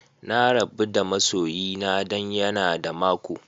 Na rabu da ma'soyina dan ya na da mako.